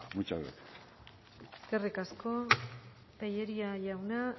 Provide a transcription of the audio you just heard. muchas gracias eskerrik asko tellería jauna